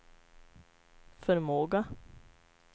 förmåga